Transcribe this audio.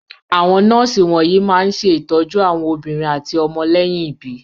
Àwọn nọ́ọ́sì wọ̀nyí máa ń ṣe ìtọ́jú àwọn obìnrin àti ọmọ lẹ́yìn ìbí.